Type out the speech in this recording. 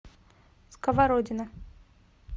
сковородино